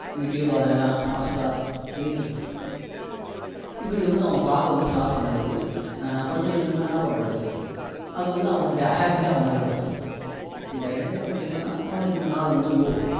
youtube or hotstar anything இப்படி வந்து அவன் பார்க்க வந்து start பண்ணும்போது கொஞ்சம் கொஞ்சமா என்ன பண்றது அது வந்து அவனுக்கு habit டா மாறிடும் இந்த entertainment இல்லன்னா அவனுக்கு இந்த நாள் வந்து bore